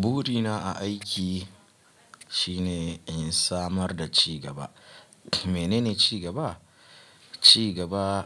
Burina a aiki shine in samar da ci gaba. Menene ci gaba? Ci gaba